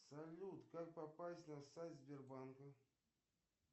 салют как попасть на сайт сбербанка